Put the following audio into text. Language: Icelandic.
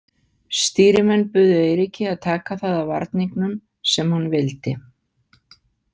Stýrimenn buðu Eiríki að taka það af varningnum sem hann vildi.